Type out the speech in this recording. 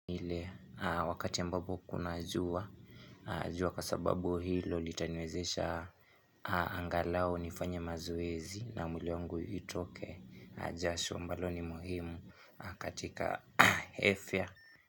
Ile wakati ambapo kuna jua, jua kwa sababu hilo litaniwezesha angalau nifanye mazoezi na mwili wangu itoke jasho ambalo ni muhimu katika afya.